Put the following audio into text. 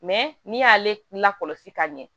Mɛ n'i y'ale lakɔlɔsi ka ɲɛ